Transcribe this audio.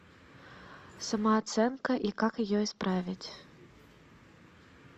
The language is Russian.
самооценка и как ее исправить